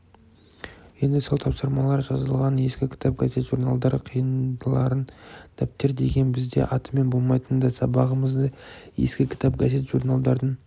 енді сол тапсырмалар жазылған ескі кітап газет-журналдар қиындыларын дәптер деген бізде атымен болмайтын да сабағымызды ескі кітап газет-журналдардың